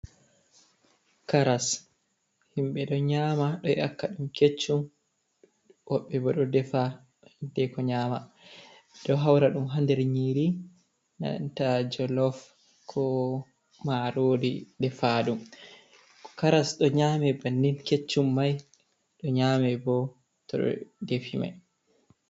Karas! Himɓe ɗo nƴama ɗo ƴakka ɗum keccum. Woɓɓe bo ɗo defa, hiddeko nƴama. Ɗo haura ɗum ha nder nyiri nanta jolof ko marori defaɗum. Karas ɗo nƴame bannin keccum mai, ɗo nyame bo to ɓe defi mai.